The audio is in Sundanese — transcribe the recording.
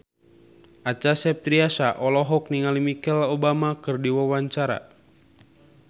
Acha Septriasa olohok ningali Michelle Obama keur diwawancara